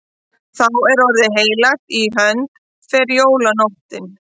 Þá er orðið heilagt og í hönd fer jólanóttin.